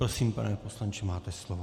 Prosím, pane poslanče, máte slovo.